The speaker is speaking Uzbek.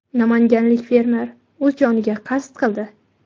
Namanganlik fermer o‘z joniga qasd qildi.